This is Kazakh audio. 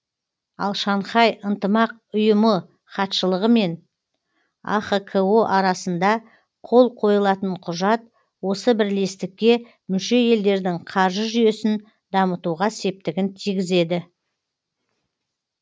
ал шанхай ынтымақ ұйымы хатшылығы мен ахқо арасында қол қойылатын құжат осы бірлестікке мүше елдердің қаржы жүйесін дамытуға септігін тигізеді